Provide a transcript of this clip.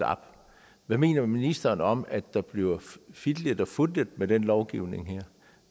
hvad mener ministeren om at der bliver fiflet og fusket med den lovgivning her